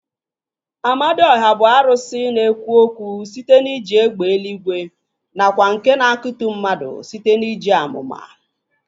Amadiọha bụ arụsị na-ekwu okwu site n'iji egbe eluigwe nakwa nke na-akutu mmadụ site n'iji amụma